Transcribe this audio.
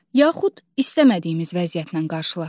Yaxud istəmədiyimiz vəziyyətlə qarşılaşırıq.